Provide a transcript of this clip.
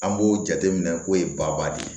An b'o jateminɛ k'o ye baba de ye